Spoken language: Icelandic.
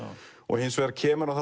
hins vegar kemur hann